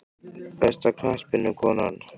Besta knattspyrnukonan?